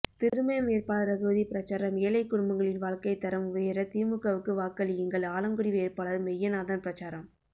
திருமயம் வேட்பாளர் ரகுபதி பிரசாரம் ஏழை குடும்பங்களின் வாழ்க்கை தரம் உயர திமுகவுக்கு வாக்களியுங்கள் ஆலங்குடி வேட்பாளர் மெய்யநாதன் பிரசாரம்